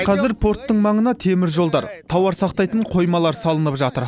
қазір порттың маңына теміржолдар тауар сақтайтын қоймалар салынып жатыр